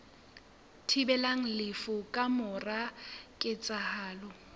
thibelang lefu ka mora ketsahalo